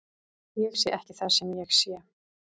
Ég sé ekki það sem ég sé.